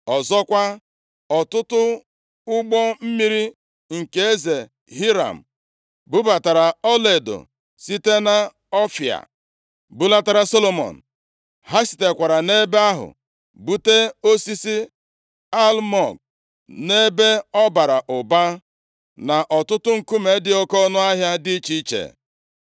(Ọzọkwa, ọtụtụ ụgbọ mmiri nke eze Hiram bubatara ọlaedo site nʼỌfịa bulatara Solomọn. Ha sitekwara nʼebe ahụ bute osisi almụg nʼebe ọ bara ụba, na ọtụtụ nkume dị oke ọnụahịa dị iche iche.